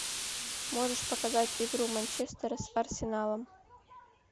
можешь показать игру манчестера с арсеналом